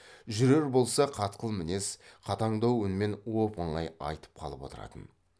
жүрер болса қатқыл мінез қатаңдау үнмен оп оңай айтып қалып отыратын